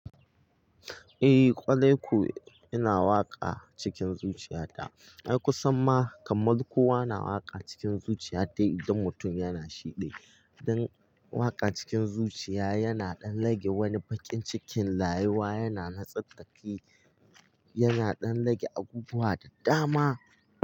Eh, kwarai ko yana waƙa cikin zuciyata. Ai kusan ma kamar kowa na waƙa cikin zuciyata idan mutum yana shiɗi. Dan waƙa cikin zuciya yana ɗan rage wani baƙin cikin rauwa yana na tsattsaki, yana ɗan rage abubuwa da dama.